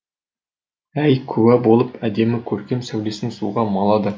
ай куә болып әдемі көркем сәулесін суға малады